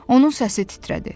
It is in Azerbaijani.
Onun səsi titrədi.